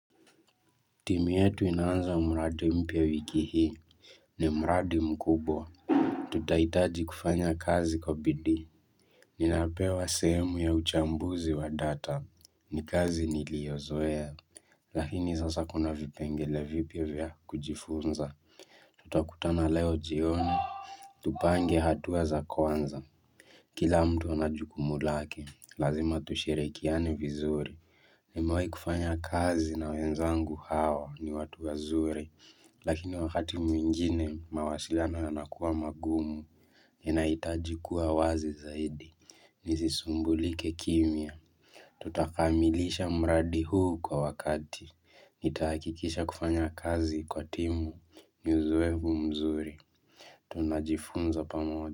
Timu yetu inaanza mradi mpya wiki hii ni mradi mkubwa. Tutahitaji kufanya kazi kwa bidii. Ninapewa sehemu ya uchambuzi wa data ni kazi niliyozoea Lakini sasa kuna vipengele vipya vya kujifunza Tutakutana leo jioni Tupange hatua kwanza Kila mtu wanajukumu lake. Lazima tushirikiane vizuri. Nimewahi kufanya kazi na wenzangu hawa ni watu wazuri Lakini wakati mwingine mawasiliano yanakuwa magumu Ninahitaji kuwa wazi zaidi Nisisumbulike kimya Tutakamilisha mradi huu kwa wakati Nitahakikisha kufanya kazi kwa timu ni uzoefu mzuri. Tunajifunza pamoja.